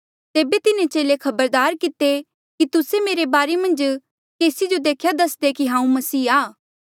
तेबे तिन्हें चेले खबरदार किते कि तुस्से मेरे बारे मन्झ केसी जो देख्या दस्दे कि हांऊँ मसीह आ